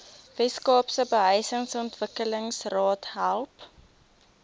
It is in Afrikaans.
weskaapse behuisingsontwikkelingsraad help